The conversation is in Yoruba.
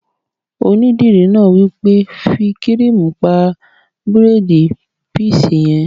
Onídìrí náà wí pé "fí kírìmù pa bírèèdì píísì yẹn!"